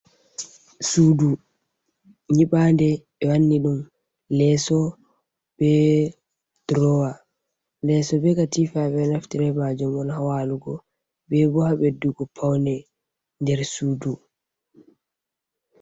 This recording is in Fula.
Suudu nyibande, ɓe wanni ɗum leeso, be durowa, leeso be katifa, ɓe ɗo naftira be majum on haa walugo be bo haa beddugo paune nder suudu.